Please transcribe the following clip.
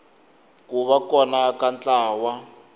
ku va kona ka ntlawa